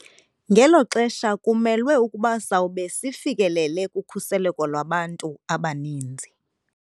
Ngelo xesha kumelwe ukuba sawube sifikelele kukhuseleko lwabantu abaninzi.